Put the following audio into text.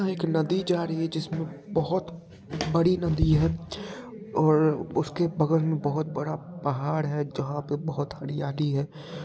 एक नदी जा रही है जिसमे बहोत बड़ी नदी है और उसके बगल में बहोत बड़ा पहाड़ है जहाँ पे बहोत हरियाली है।